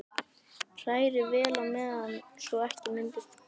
Hrærið vel í á meðan svo ekki myndist kekkir.